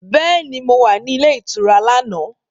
Bẹ́ẹ̀ni, mo wà ní ilé ìtura lánàá